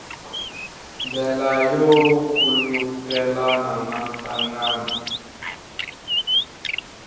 ndlela yo khulukelana na nhlangano